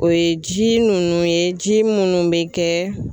O ye ji nunnu ye ji munnu bɛ kɛ